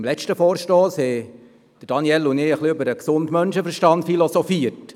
Beim letzten Vorstoss haben Daniel Trüssel und ich ein wenig über den gesunden Menschenverstand philosophiert.